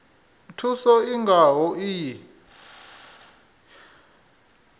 thuso i nga ho iyi